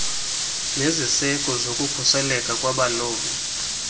neziseko zokukhuseleko lwabalobi